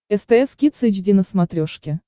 стс кидс эйч ди на смотрешке